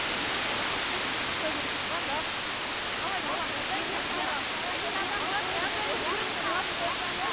сондықтан баламен тығыз жұмыс жасау керек звондап қалай балам жағдайың жақсы ма